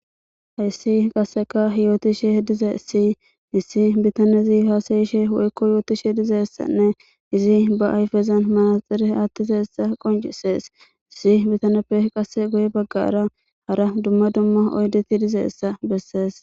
hayssi qasseka hiyootishe dizees sii issi bitanezi haasayishe woykko yootishe dizessanne izi ba ayfezan malaxire attizeessa qoncisees issi bitaneppe qasse goye baggara hara dumma dumma oydeti dizeessa bessees